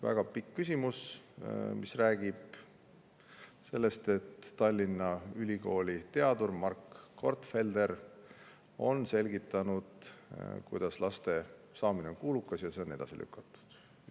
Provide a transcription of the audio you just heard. Väga pikk küsimus, mis räägib sellest, et Tallinna Ülikooli teadur Mark Gortfelder on selgitanud, kuidas laste saamine on kulukas ja kuidas seda edasi lükatakse.